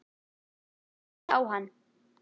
Ég horfði á hann.